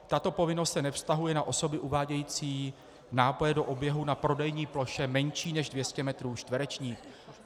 Tato povinnost se nevztahuje na osoby uvádějící nápoje do oběhu na prodejní ploše menší než 200 metrů čtverečních.